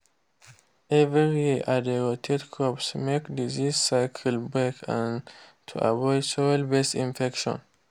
every year i dey rotate crops make disease cycle break and to avoid soil-based infections.